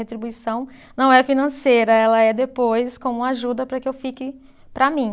Retribuição não é financeira, ela é depois como ajuda para que eu fique para mim.